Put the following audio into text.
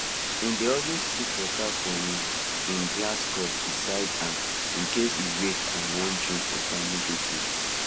he dey always keep water for him him glass cup beside am incase he wake and wan drink water immediately